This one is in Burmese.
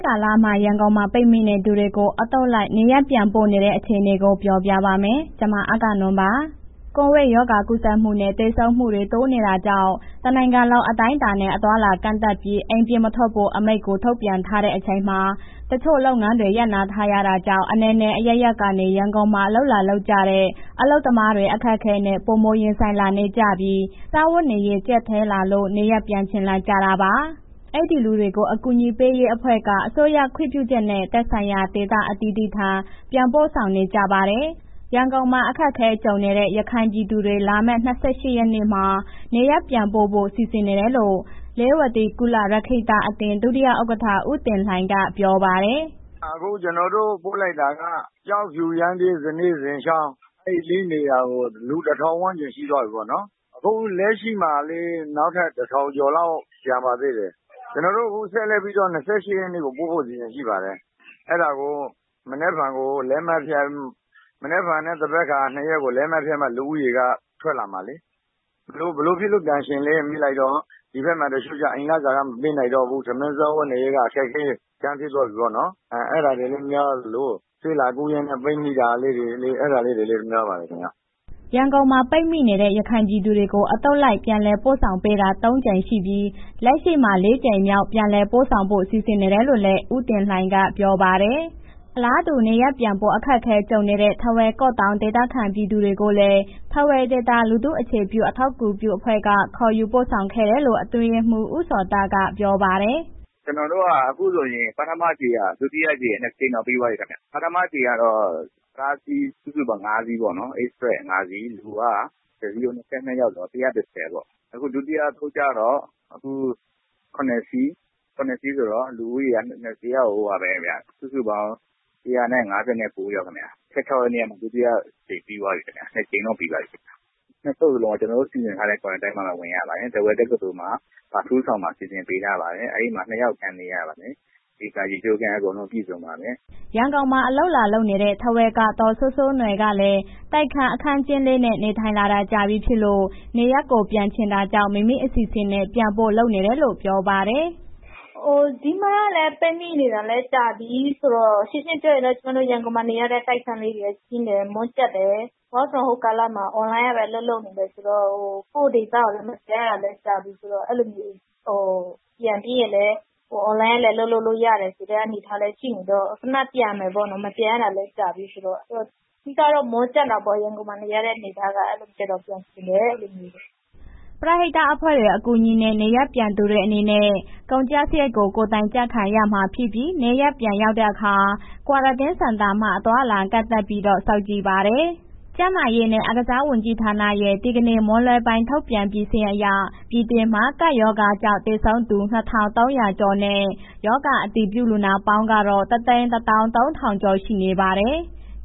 ကာလ ရန်ကုန်မှာ ပိတ်မိနေသူတွေကို အသုတ်လိုက် နေရပ်ပြန် ပို့ပေးနေတဲ့ အခြေအနေ ကို ဗွီအိုအေမြန်မာပိုင်းသတင်းထောက် အဂ္ဂနွန်က သတင်းပေးပို့ထားပါတယ်။ ကိုဗစ်ရောဂါကူးစက်မှုတွေနဲ့ သေဆုံးမှုတွေ တိုးနေတာကြောင့် တနိုင်ငံလုံး အတိုင်းအတာနဲ့ အသွားအလာကန့်သတ်ပြီး အိမ်ပြင်မထွက်ဖို့ အမိန့်ကို ထုတ်ပြန်ထားတဲ့အချိန်မှာ တချို့လုပ်ငန်းတွေ ရပ်နားထားရ တာကြောင့် အနယ်နယ်အရပ်ရပ်ကနေ ရန်ကုန်မှာ အလုပ်လာလုပ်ကြတဲ့ အလုပ်သမားတွေ အခက်အခဲနဲ့ ပိုမိုရင်ဆိုင်လာနေကြပြီး စားဝတ်နေရေး ကြပ်တည်း လာလို့နေရပ်ပြန်ချင်လာကြတာပါ။ အဲ့ဒီ့လူတွေကို အကူအညီပေးရေးအဖွဲ့တွေက အစိုးရခွင့်ပြုချက်နဲ့ သက်ဆိုင်ရာ ဒေသအသီးသီး ထံပြန်ပို့ဆောင်ပေးနေကြပါတယ်။ ရန်ကုန်မှာ အခက်အခဲကြူံနေတဲ့ ရခိုင်ပြည်သူတွေ လာမယ့် ၂၈ ရက်နေ့ နေရပ်ပြန်ပို့ဆောင်ဖို့ စီစဉ်နေတယ်လို့ လေးဝတီကုလရက္ခိတအသင်း ဒုတိယဥက္ကဋ္ဌ ဦးတင်လှိုင်က ပြောပါတယ်။ “အခုကျနော်တို့ ပို့လိုက်တာက ကျောက်ဖြူ၊ ရမ်းဗြဲ၊ ဇနဲ၊ဇင်ချောင်း အဲ့လေးနေရာကို လူတစ်ထောင်ဝန်းကျင်ရှိသွားပြီးပေါ့နော်၊အခုလက်ရှိမှာ နောက်ထပ် တစ်ထောင်ကျော်လောက် ကျန်နေပါသေးတယ်၊ ကျနော်တို့အခုဆက်လက်ပြီးတော့ ၂၈ ရက်နေ့ကို ပို့ဖို့အစီစဉ်ရှိပါတယ်၊ အဲ့ဒါကို မနက်ဖြန်နဲ့ သန်ဘက်ခါ လက်မှတ်ဖြတ် လူဦးရေက ထွက်လာမယ်။ ဘယ်လိုဖြစ်လို့ ပြန်ချင်လဲ မေးလိုက်တော့ ဒီဘက်မှာ တချို့ကျ အိမ်လစာကမပေးနိုင်တော့ဘူး၊ ထမင်း စားဝတ်နေရေးက အခက်အခဲဖြစ်သွားပြီပေါ့နော်၊ အဲ့ဒါတွေလည်း များသလို ဆေးလာကုရင်းနဲ့ ပိတ်မိတာလေးတွေ အဲ့ဒါလည်း များပါတယ်ခင်ဗျ။” ရန်ကုန်မှာ ပိတ်မိနေတဲ့ ရခိုင်ပြည်သူတွေကို အသုတ်လိုက်ပြန်လည်ပို့ဆောင်ပေးတာ သုံးကြိမ်ရှိပြီး လက်ရှိမှာ လေးကြိမ်မြောက်ပြည်လည်ပို့ဆောင်ဖို့ စီစဉ်နေတယ်လို့လည်း ဦးတင်လှိုင်က ပြောပါတယ်။ အလားတူ နေရပ်ပြန်ဖို့ အခက်အခဲကြုံနေတဲ့ ထားဝယ် ကော့သောင်း ဒေသခံပြည်သူတွေကိုလည်း ထားဝယ်ဒေသ လူထုအခြေပြု အထောက်အကူပြုအဖွဲ့ကခေါ်ယူပို့ဆောင်ခဲ့တယ်လို့ အတွင်းရေးမှူး ဦးဇော်သန့်က ပြောပါတယ်။ “ကျနော်တို့က အခုဆိုရင် ပထမအကြိမ် ဒုတိယအကြိမ်နှစ်ကြိမ်တောင်ပြီးသွားပြီခင်ဗျ၊ ပထမအကြိမ်ကတော့ ကားအစင်;စုစုပေါင်း ၅စီးပေါ့နော် Express ၅ စီး လူက တစ်စီးကို ၂၂ယောက်ဆိုတော့ ၁၁၀ ပေါ့။ အခုဒုတိယအသုတ်ကျတော့ ၇ စီး၊ ၇ စီးဆိုတော့ လူဦးရေစုစုပေါင်း ၁၅၉ ယောက်ခင်ဗျာ၊၁၆ ရက်နေ့က ဒုတိယအကြိမ်ပြီးသွားပြီခင်ဗျာ နှစ်ကြိမ်တော့ ပြီးသွားပြီ၊နှစ်သုတ်လုံးကို ကျနော်တို့ စီစဉ်ထားတဲ့ Quarantine မှာပဲ ဝင်ရပါတယ်၊ထားဝယ် တက္ကသိုလ်မှာ အထူးအဆောင်မှာ စီစဉ်ပေးထားပါတယ်၊ အဲ့ဒီမှာ နှစ်ယောက်အခန်းနေရပါတယ်၊ အိမ်သာ၊ ရေချိုးခန်းအကုန်လုံးပြည့်စုံပါတယ်။” ရန်ကုန်မှာ အလုပ်လာနေလုပ်တဲ့ ထားဝယ်က ဒေါ်စိုးစိုးနွယ်ကလည်း တိုက်ခန်း အခန်းကျဉ်းလေး နဲ့ နေထိုင်လာတာကြာပြီဖြစ်လို့ နေရပ်ကို ပြန်ချင်တာကြောင့် မိမိအစီစဉ်နဲ့ ပြန်ဖို့လုပ်နေတယ်လို့ ပြောပါတယ်။ “ဒီမှာကလည်း ပိတ်မိနေတာကြာပြီးဆိုတော့ရှင်းရှင်းပြောရရင်တော့ ရန်ကုန်မှာ နေရတဲ့ တိုက်ခန်းလေးတွေက ကျဉ်းကမွန်ကျပ် တယ်၊ work from home ကာလမှာ အွန်လိုင်းကပဲ အလုပ်လုပ်တယ်ဆိုတော့ကိုယ့်ဒေသကို မပြန်ရတာကြာပြီးဆိုတော့ အဲ့လိုမျိုး ပြန်ပြီးရင်လည်းအွန်လိုင်းက အလုပ်လုပ်လို့ရတယ်ဆိုတဲ့ အနေအထားလည်းရှိနေတော့ခဏပြန်မယ်ပေါ့နော် မပြန်ရတာလည်း ကြာပြီးဆိုတော့ အဓိကတော့ မွန်းကျပ်တာပေါ့ရန်ကုန်မှာနေရတဲ့ အနေအထားကအလိုဖြစ်တော့ ပြန်ချင်တယ်အဲ့လိုမျိုးပေါ့။” ပရဟိတအဖွဲ့တွေ အကူအညီနဲ့ နေရပ်ပြန်သူတွေအနေနဲ့ ကျန်ကျစရိတ်ကို ကိုယ်တိုင်ကျခံရမှာဖြစ်ပြီး နေရပ်ပြန်ရောက်တဲ့အခါ ကွာရန်တင်းစင်တာမှာ အသွားအလာကန့်သတ်ပြီးတော့ စောင့်ကြည့်ပါတယ်။ ကျန်းမာရေးနဲ့ အားကစားဝန်ကြီးဌာနရဲ့ ဒီကနေ့မွန်းလွဲပိုင်းထုတ်ပြန်ပြီး စာရင်းအရ ပြည်တွင်းမှာ ကပ်ရောဂါကြောင့်သေဆုံးသူ ၂,၃၀၀ ကျော်နဲ့ ရောဂါအတည်ပြု လူနာပေါင်းကတော့၁၁၃,၀၀၀ ကျော်ရှိနေပါတယ်။